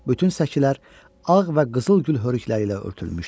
Bütün səkilər ağ və qızıl gül hörükələri ilə örtülmüşdü.